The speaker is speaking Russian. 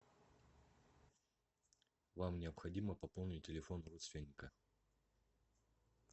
вам необходимо пополнить телефон родственника